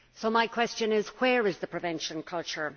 My question is where is the prevention culture?